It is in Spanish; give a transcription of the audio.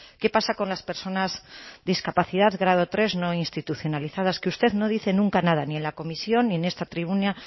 qué pasa con las personas discapacidad grado tres no institucionalizadas que usted no dice nunca nada ni en la comisión ni en esta tribuna